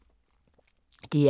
DR K